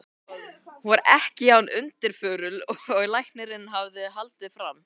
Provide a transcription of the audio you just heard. Hún var ekki jafn undirförul og læknirinn hafði haldið fram.